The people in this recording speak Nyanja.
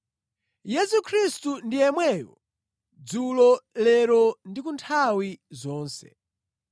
Yesu Khristu ndi yemweyo dzulo, lero ndi kunthawi zonse.